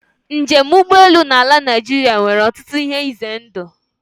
Njem ụgbọelu na ala Naịjirịa nwere ọtụtụ ihe ize ndụ.